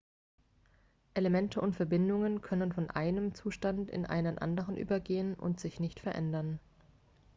elemente und verbindungen können von einem zustand in einen anderen übergehen und sich nicht verändern